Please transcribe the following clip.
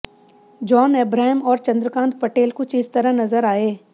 John Abraham और चंद्रकांत पटेल कुछ इस तरह नजर आए